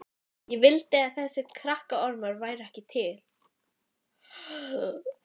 Ég vildi að þessir krakkaormar væru ekki til.